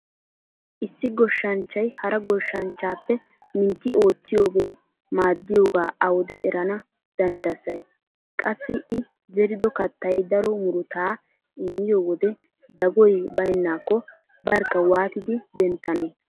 Issi go shshanchchay hara goshshanchchaappe mintti oottiyogee maaddiyoga awude erana dandsayi? Qassi I zerido kattay daro murutaa immiyo wode dagoy baynnaakko barkka waati denttane?